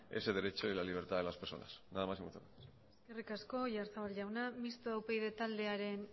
ese derecho y la libertad de las personas nada más y muchas gracias eskerrik asko oyarzabal jauna mistoa upyd taldearen